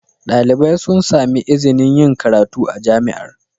Dalibai sun sami izinin yin karatu a Jami'ar.